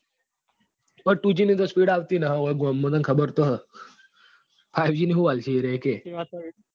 અહી તું ગજી આવતી નથી અહી ગામ માં તને ખબર તો ચી five g શું આપશે કે